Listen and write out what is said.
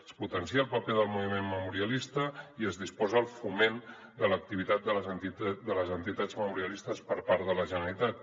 es potencia el paper del moviment memorialista i es disposa el foment de l’activitat de les entitats memorialistes per part de la generalitat